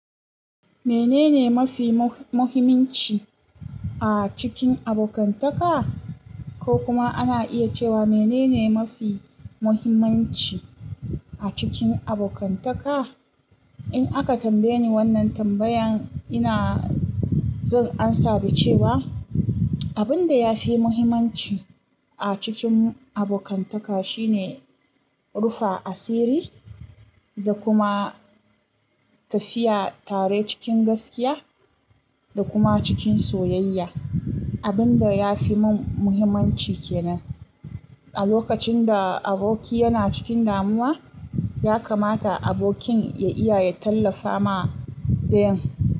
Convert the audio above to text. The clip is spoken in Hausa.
Menene mafi mu-muhimanci a cikin abokantaka? Ko kuma ana iya cewa menene mafi muhimmanci a cikin abokantaka? In aka tambaye ni wannan tambayan, ina zan amsa da cewa abin da ya fi muhimmanci a cikin abokantaka shine rufa asiri da kuma tafiya tare cikin gaskiya da kuma cikin soyayya. Abin da ya fi mun muhimmanci kenan a lokacin da aboki yana cikin damuwa, ya kamata abokin ya iya ya tallafa ma ɗayan.